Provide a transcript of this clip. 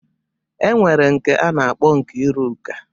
E nwere nke a na-akpọ Nkiruka.